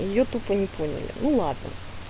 я тупо не поняла ну ладно